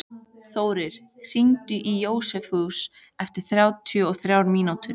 Þórir, hringdu í Jósefus eftir þrjátíu og þrjár mínútur.